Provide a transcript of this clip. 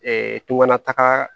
toŋana